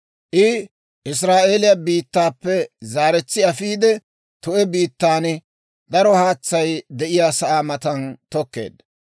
«‹ «I Israa'eeliyaa biittaappe zeretsaa afiide, tu'e biittan, daro haatsay de'iyaasaa matan tokkeedda.